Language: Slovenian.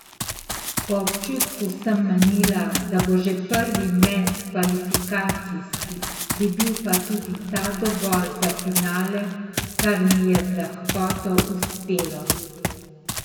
Po občutku sem menila, da bo že prvi met kvalifikacijski, bi bil pa tudi ta dovolj za finale, kar mi je z lahkoto uspelo.